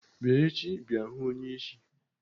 Bịa echi bịa hụụ onyeisi!